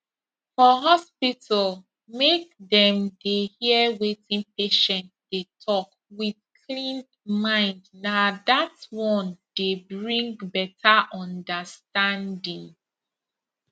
for hospital make dem dey hear wetin patient dey talk with clean mindna that one dey bring better understanding